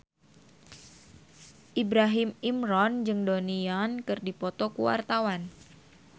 Ibrahim Imran jeung Donnie Yan keur dipoto ku wartawan